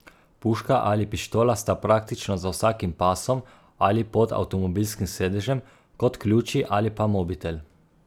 Puška ali pištola sta praktično za vsakim pasom ali pod avtomobilskim sedežem, kot ključi ali pa mobitel.